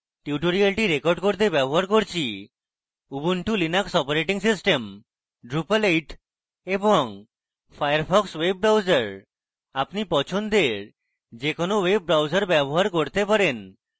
tutorial record করতে ব্যবহার করছি Ubuntu Linux operating system drupal 8 এবং ফায়ারফক্স ওয়েব ব্রাউজার আপনি পছন্দের যে কোনো ওয়েব ব্রাউজার ব্যবহার করতে পারেন